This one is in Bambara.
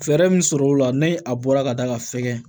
Fɛɛrɛ min sɔrɔ o la ni a bɔra ka da ka fɛgɛn